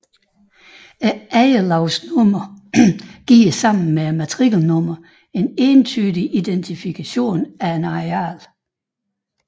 Ejerlavsnummeret giver sammen med matrikelnummeret en entydig identifikationen af et areal